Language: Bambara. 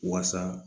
Waasa